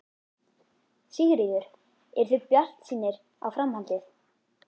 Sigríður: Eruð þið bjartsýnir á framhaldið?